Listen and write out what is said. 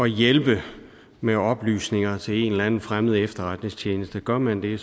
hjælpe med oplysninger til en eller anden fremmed efterretningstjeneste gør man det